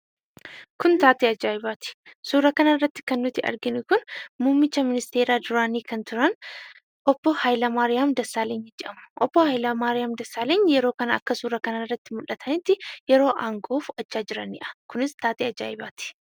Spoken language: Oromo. Kun taatee ajaa'ibaati. Suuraa kanarratti kan arginu kun muummicha ministeeraa duraanii kan turan obbo H/maariyaam Dasaaleny jedhamu. Obbo H/maariyaam Dassaaleny yeroo kana akkas suuraa kanarratti mul'atanitti yeroo aangoo fudhachaa jiranidha. Kunis taatee ajaa'ibaati.